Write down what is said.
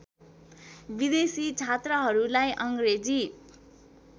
विदेशी छात्रहरूलाई अङ्ग्रेजी